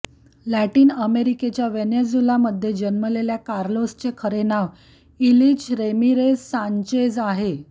Latin अमेरिकेच्या व्हेनेझुएलामध्ये जन्मलेल्या कार्लोसचे खरे नाव इलिच रेमीरेज सांचेज आहे